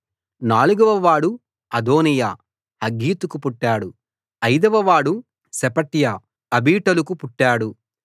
నాలుగవ వాడు అదోనీయా హగ్గీతుకు పుట్టాడు అయిదవ వాడు షెఫట్య అబీటలుకు పుట్టాడు